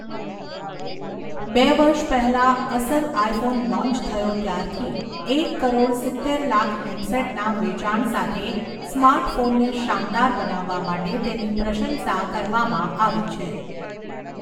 બે વર્ષ પહેલાં અસલ આઇફોન લૉન્ચ થયો ત્યારથી, એક કરોડ સિત્તેર લાખ હેન્ડસેટના વેચાણ સાથે સ્માર્ટફોનને શાનદાર બનાવવા માટે તેની પ્રશંસા કરવામાં આવી છે.